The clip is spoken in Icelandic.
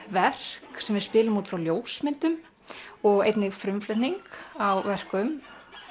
verk sem við spilum út frá ljósmyndum og einnig frumflutning á verkum